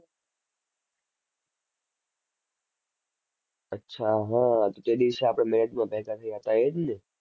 અચ્છા હા. તો તે દિવસે આપણે મેચમાં ભેગા થયા તા એ જ ને?